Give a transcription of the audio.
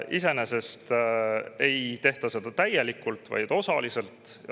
Iseenesest ei tehta seda täielikult, vaid osaliselt.